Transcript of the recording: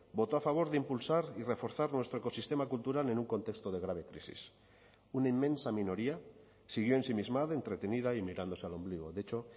votó a favor de impulsar y reforzar nuestro ecosistema cultural en un contexto de grave crisis una inmensa minoría siguió ensimismada entretenida y mirándose al ombligo de hecho